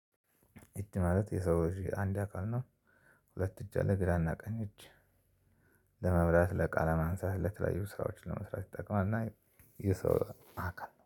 እጅ ማለት የሰው እጅ አንድ አካል ነው ሁለት እጅ አለ ግራና ቀኝ እጅ ለመብላት ለእቃ ማንሳት ለተለያዩ ስራዎችን ለመስራት ይጠቀማል እና የሰው አከል ነው።